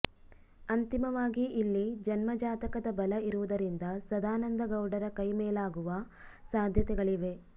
ಅಂತಿಮವಾಗಿ ಇಲ್ಲಿ ಜನ್ಮ ಜಾತಕದ ಬಲ ಇರುವುದರಿಂದ ಸದಾನಂದ ಗೌಡರ ಕೈ ಮೇಲಾಗುವ ಸಾಧ್ಯತೆಗಳಿವೆ